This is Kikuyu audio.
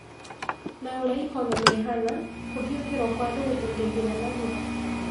Na ũria ikonomi ihana, kũhiokĩrwo kwa andũ gũtigũthira narua.